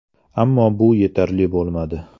Ammo bu yetarli bo‘lmadi.